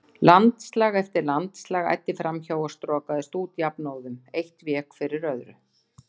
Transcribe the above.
Landslag eftir landslag æddi fram hjá og strokaðist út jafnóðum, eitt vék fyrir öðru.